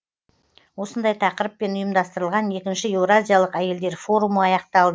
осындай тақырыппен ұйымдастырылған екінші еуразиялық әйелдер форумы аяқталды